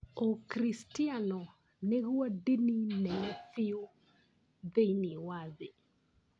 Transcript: ũkristiano nĩguo ndini nene biũ thĩiniĩ wa thĩ.